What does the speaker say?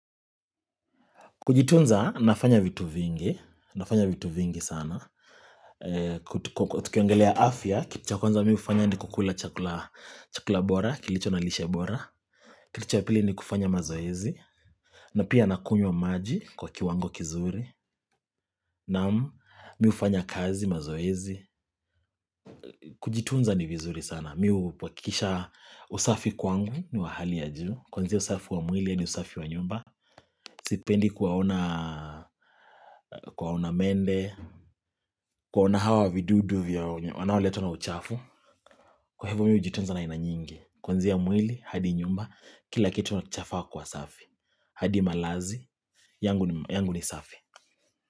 Kujitunza nafanya vitu vingi, nafanya vitu vingi sana, tukiongelea afya, kitu cha kwanza mimi hufanya ni kukula chakula bora, kilicho na lishe bora, kitu cha pili ni kufanya mazoezi, na pia nakunywa maji kwa kiwango kizuri, naam mimi hufanya kazi mazoezi, kujitunza ni vizuri sana Mimi huhakikisha usafi kwangu ni wahali ya juu. Kuanzia usafi wa mwili hadi usafi wa nyumba. Sipendi kuwaona mende, kuwaona hawa vidudu wanaoletwa na uchafu. Kwa hivyo mimi hujitunza na aina nyingi. Kuenzia mwili, hadi nyumba, kila kitu chafaa kuwa safi. Hadi malazi, yangu ni safi.